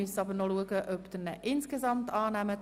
Wir müssen nun schauen, ob Sie ihn insgesamt annehmen.